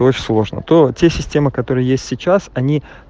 сложно то система которые есть сейчас они